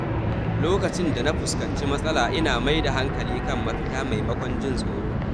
Lokacin da na fuskanci matsala, ina mai da hankali kan mafita maimakon jin tsoro.